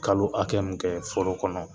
Kalo hakɛ min foro kɔnɔ